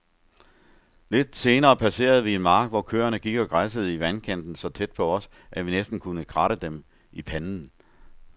Lidt senere passerede vi en mark, hvor køerne gik og græssede i vandkanten så tæt på os, at vi næsten kunne kratte dem i panden.